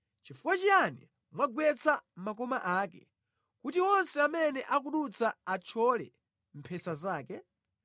Chifukwa chiyani mwagwetsa makoma ake kuti onse amene akudutsa athyole mphesa zake?